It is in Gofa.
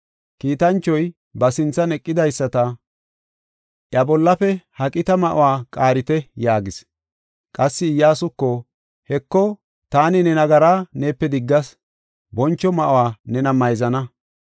Kiitanchoy ba sinthan eqidaysata, “Iya bollafe ha qita ma7uwa qaarite” yaagis. Qassi Iyyasuko, “Heko, taani ne nagara neepe diggas; boncho ma7uwa nena mayzana.”